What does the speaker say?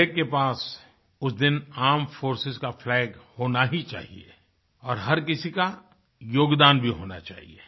हर एकके पास उस दिन आर्मेड फोर्सेस का फ्लैग होना ही चाहिए और हर किसी का योगदान भी होना चाहिए